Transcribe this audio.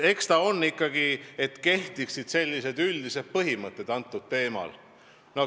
Eks need olid ikkagi, et kehtiksid üldised printsiibid.